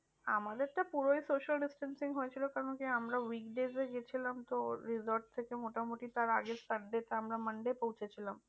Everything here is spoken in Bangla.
আমাদের তো পুরোই social distancing হয়েছিল কারণ কি আমরা week days এ গিয়েছিলাম তো resort থেকে মোটামুটি তার আগে আমরা monday পৌঁছে ছিলাম।